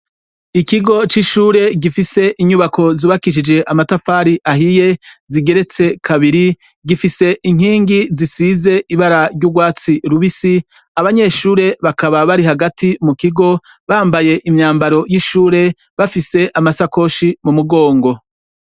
Ikigo c'ishure gifise inyubako zubakishije amatafari ahiye zigeretse kabiri gifise inkingi zisize ibara ry'urwatsi rubisi abanyeshure bakaba bari hagati mu kigo bambaye imyambaro y'ishure bafise amasakoshi mu mugongo.